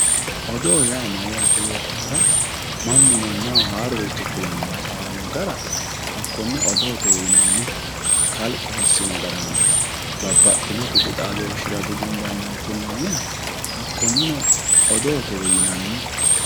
Odoo yaa mayyaate yootohura mannu mannaho haaroricho kulanni hasaawaonno gara